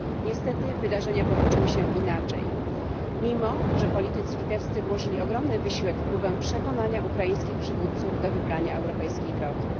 Niestety wydarzenia potoczyły się inaczej, pomimo że politycy litewscy włożyli ogromny wysiłek w próbę przekonania ukraińskich przywódców do wybrania europejskiej drogi.